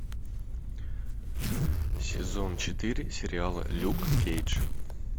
сезон четыре сериала люк кейдж